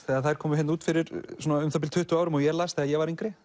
þegar þær komu út fyrir um það bil tuttugu árum og ég las þegar ég var yngri